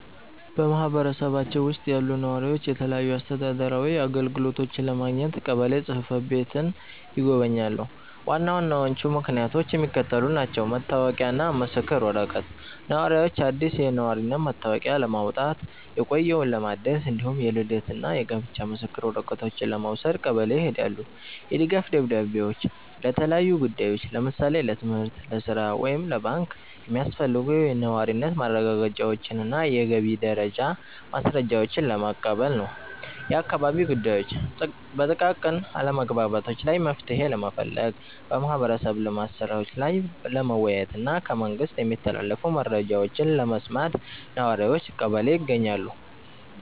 በማኅበረሰባችን ውስጥ ያሉ ነዋሪዎች የተለያዩ አስተዳደራዊ አገልግሎቶችን ለማግኘት ቀበሌ ጽሕፈት ቤትን ይጎበኛሉ። ዋና ዋናዎቹ ምክንያቶች የሚከተሉት ናቸው፦ መታወቂያና ምስክር ወረቀት፦ ነዋሪዎች አዲስ የነዋሪነት መታወቂያ ለማውጣት፣ የቆየውን ለማደስ፣ እንዲሁም የልደትና የጋብቻ ምስክር ወረቀቶችን ለመውሰድ ቀበሌ ይሄዳሉ። የድጋፍ ደብዳቤዎች፦ ለተለያዩ ጉዳዮች (ለምሳሌ ለትምህርት፣ ለሥራ ወይም ለባንክ) የሚያስፈልጉ የነዋሪነት ማረጋገጫዎችንና የገቢ ደረጃ ማስረጃዎችን ለመቀበል ነው። የአካባቢ ጉዳዮች፦ በጥቃቅን አለመግባባቶች ላይ መፍትሔ ለመፈለግ፣ በማኅበረሰብ ልማት ሥራዎች ላይ ለመወያየትና ከመንግሥት የሚተላለፉ መረጃዎችን ለመስማት ነዋሪዎች ቀበሌ ይገኛሉ።